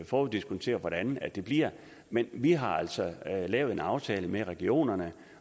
foruddiskontere hvordan det bliver men vi har altså lavet en aftale med regionerne